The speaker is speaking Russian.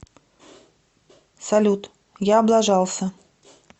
салют я облажался